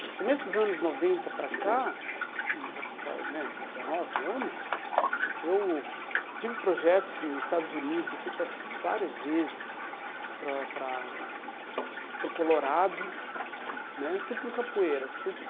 Do começo dos anos noventa para cá, aí já faz né dezenove anos, eu tive projetos nos Estados Unidos, eu fui para várias vezes para para para o Colorado né, tudo com capoeira. Fui